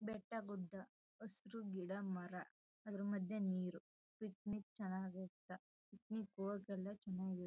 ಬೆಟ್ಟ ಗುಡ್ಡ ಹಸ್ರು ಗಿಡ ಮರ ಅದ್ರು ಮದ್ಯೆ ನೀರು ಪಿಕ್ನಿಕ್ ಚನಗೈತ .]